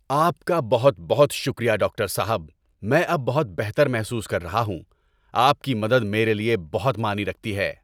آپ کا بہت بہت شکریہ ڈاکٹر صاحب! میں اب بہت بہتر محسوس کر رہا ہوں۔ آپ کی مدد میرے لیے بہت معنی رکھتی ہے۔